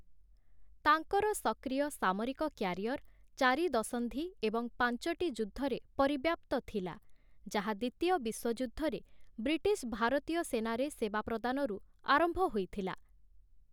ତାଙ୍କର ସକ୍ରିୟ ସାମରିକ କ୍ୟାରିଅର ଚାରି ଦଶନ୍ଧି ଏବଂ ପାଞ୍ଚଟି ଯୁଦ୍ଧରେ ପରିବ୍ୟାପ୍ତ ଥିଲା, ଯାହା ଦ୍ୱିତୀୟ ବିଶ୍ୱଯୁଦ୍ଧରେ ବ୍ରିଟିଶ ଭାରତୀୟ ସେନାରେ ସେବା ପ୍ରଦାନରୁ ଆରମ୍ଭ ହୋଇଥିଲା ।